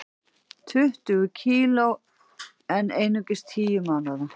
Tuttugu kg en einungis tíu mánaða